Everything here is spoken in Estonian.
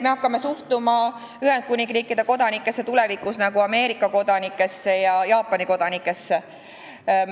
Me hakkame suhtuma Ühendkuningriigi kodanikesse tulevikus nagu Ameerika kodanikesse ja Jaapani kodanikesse.